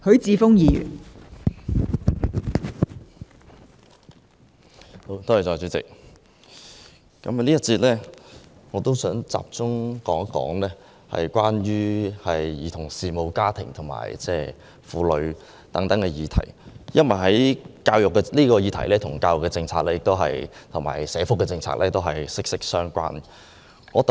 代理主席，我想在這個辯論環節集中討論兒童事務、家庭及婦女等議題，因為這些議題與教育及社福政策息息相關。